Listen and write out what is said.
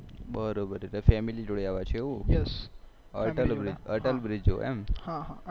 બરોબર એટલે family જોડે આવ્યા છો એવું yes Atal bridge Atal bridge જોવા એમ